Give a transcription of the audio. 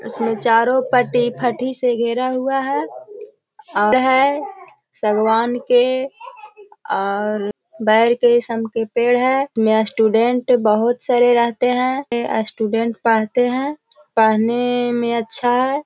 इसमें चारों पटी फटी से घिरा हुआ हैं है सगवान के और बेर के शम के पेड़ हैं यहां नया स्टूडेंट बहुत सारे रहते हैं स्टूडेंट पढ़ते हैं। पेहेने में अच्छा हैं।